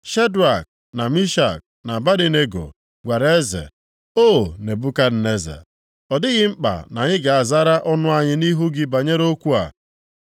Shedrak, na Mishak, na Abednego, gwara eze, “O Nebukadneza, ọ dịghị mkpa na anyị ga-azara ọnụ anyị nʼihu gị banyere okwu a.